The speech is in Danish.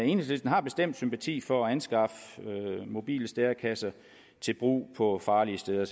enhedslisten har bestemt sympati for at anskaffe mobile stærekasser til brug på farlige steder